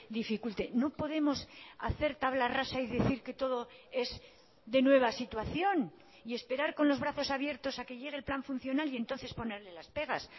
dificulte no podemos hacer tabla rasa y decir que todo es de nueva situación y esperar con los brazos abiertos a que llegue el plan funcional y entonces ponerle las pegas